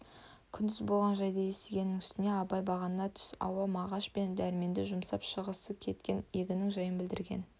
күндіз болған жайды естігеннің үстіне абай бағана түс ауа мағаш пен дәрменді жұмсап шығысы кеткен егіннің жайын білдірген